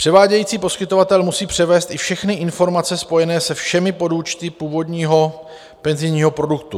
Převádějící poskytovatel musí převést i všechny informace spojené se všemi podúčty původního penzijního produktu.